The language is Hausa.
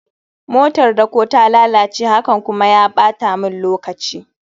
motar dako ta lalace, hakan kuma ya bata min lokaci